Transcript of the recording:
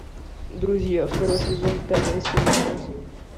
друзья второй сезон пятая серия найти